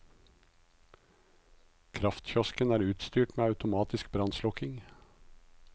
Kraftkiosken er utstyrt med automatisk brannslukking.